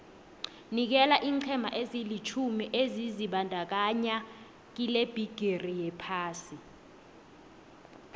nikela iinqhema ezilitjhumi ebezizibandakanye kilebhigiri yephasi